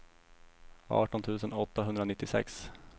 arton tusen åttahundranittiosex